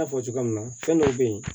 N y'a fɔ cogoya min na fɛn dɔw bɛ yen